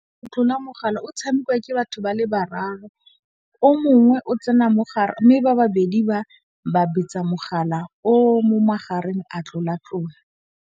Go tlola mogala o tshamekiwa ke batho ba le bararo, o mongwe o tsena mogare mme ba babedi ba betsa mogala o mo magareng a tlola-tlola.